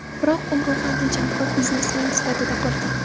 Biroq u ruhan tejamkor biznesmen sifatida qolgan.